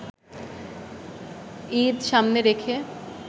ঈদ সামনে রেখে